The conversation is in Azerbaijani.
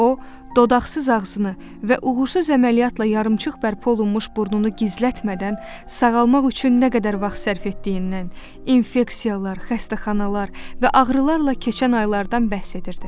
O, dodaqsız ağzını və uğursuz əməliyyatla yarımçıq bərpa olunmuş burnunu gizlətmədən, sağalmaq üçün nə qədər vaxt sərf etdiyindən, infeksiyalar, xəstəxanalar və ağrılarla keçən aylardan bəhs edirdi.